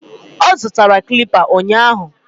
Ọ zụtara clipper ụnyahụ